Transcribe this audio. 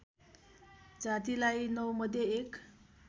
जातिलाई नौमध्ये एक